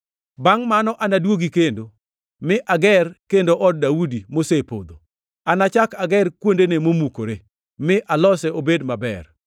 “ ‘Bangʼ mano anaduogi kendo, mi ager kendo od Daudi mosepodho. Anachak ager kuondene momukore, mi alose obed maber,